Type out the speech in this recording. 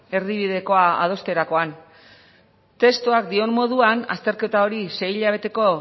erdibidekoa adosterakoan testuak dion moduan azterketa hori sei hilabeteko